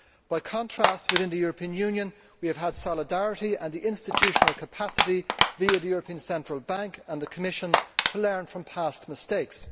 By contrast, within the European Union, we have had solidarity and the institutional capacity, via the European Central Bank and the Commission, to learn from past mistakes.